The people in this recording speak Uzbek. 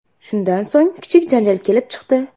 Shundan so‘ng, kichik janjal kelib chiqdi.